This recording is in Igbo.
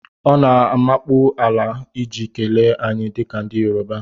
Ọ na-amakpu n'ala iji kelee anyị dịka ndị Yorùbá.